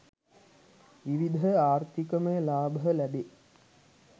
විවිධ ආර්ථිකමය ලාභ ලැබේ.